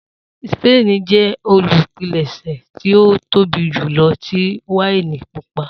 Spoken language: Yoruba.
Spain jẹ olupilẹṣẹ ti o tobi julọ ti waini pupa.